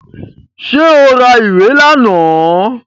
Ṣé o ra ìwé lánàá?